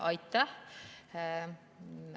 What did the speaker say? Aitäh!